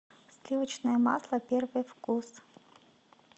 сливочное масло первый вкус